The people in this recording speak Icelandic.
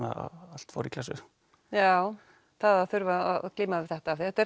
allt fór í klessu já það að þurfa að glíma við þetta þetta